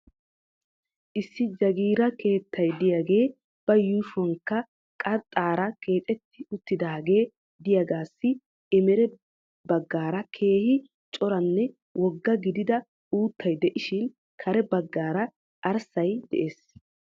Issi jagiira keetta diyage ba yuushuwankka qarxxaara keexetti uttidaagee diyagaassi emere naggaara keehi coranne wogga gidida uuttay de'ishin kare baggaara arssay de'es.